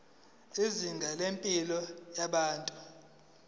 izinga lempilo yabantu